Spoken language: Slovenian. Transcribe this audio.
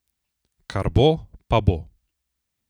Kar bo, pa bo.